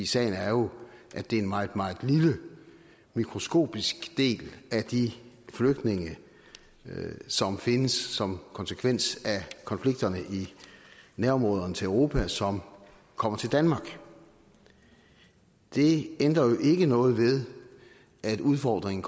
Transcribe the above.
sagen er jo at det er en meget meget lille en mikroskopisk del af de flygtninge som findes som konsekvens af konflikterne i nærområderne til europa som kommer til danmark det ændrer jo ikke noget ved at udfordringen